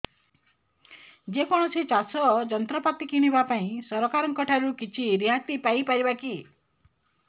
ଯେ କୌଣସି ଚାଷ ଯନ୍ତ୍ରପାତି କିଣିବା ପାଇଁ ସରକାରଙ୍କ ଠାରୁ କିଛି ରିହାତି ପାଇ ପାରିବା କି